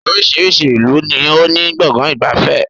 Oríṣiríṣi ìlú ni ó ní Gbọ̀ngán ìgbafẹ́